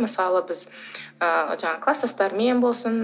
мысалы біз ы жаңағы кластастармен болсын